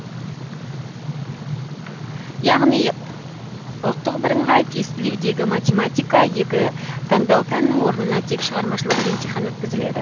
яғни ұбт дағы математика екі таңдау пәннің орнына тек шығармашылық емтихан өткізіледі